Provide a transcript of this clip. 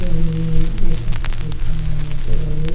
नि नि नि एसा कुछ लिखा हुआ है यहाँ पे रॉयल --